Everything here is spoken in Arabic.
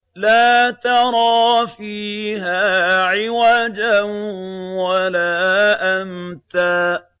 لَّا تَرَىٰ فِيهَا عِوَجًا وَلَا أَمْتًا